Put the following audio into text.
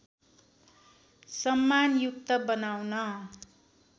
सम्मानयुक्त बनाउन